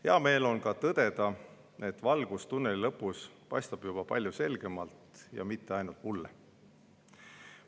Hea meel on ka tõdeda, et valgus tunneli lõpus paistab juba palju selgemalt ja mitte ainult mulle.